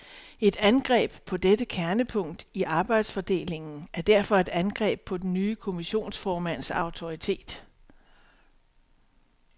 Et angreb på dette kernepunkt i arbejdsfordelingen er derfor et angreb på den nye kommissionsformands autoritet.